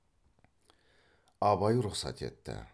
абай рұқсат етті